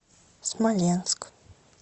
смоленск